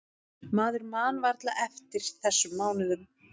Maður man varla eftir þessum mánuðum.